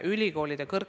Katri Raik, palun!